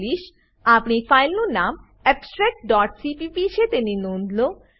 આપણી ફાઈલનું નામ abstractસીપીપી છે તેની નોંધ લો